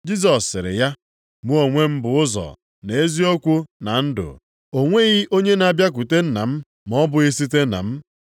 Jisọs sịrị ya, “Mụ onwe m bụ ụzọ, na eziokwu, na ndụ. O nweghị onye na-abịakwute Nna m ma ọ bụghị site na m.